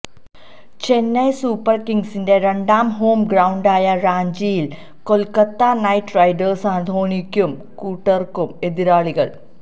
Chennai super കിംഗ്സിന്റെ രണ്ടാം home ഗ്രൌണ്ടായ റാഞ്ചിയില് കൊല്ക്കത്ത നൈറ്റ് റൈഡേഴ്സാണ് ധോണിക്കും കൂട്ടര്ക്കും എതിരാളികള്